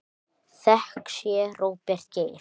Þökk sé Róberti Geir.